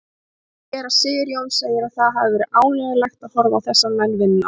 Séra Sigurjón segir að það hafi verið ánægjulegt að horfa á þessa menn vinna.